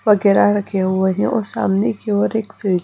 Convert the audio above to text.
वगैरह रखे हुए हैं। और सामने की ओर एक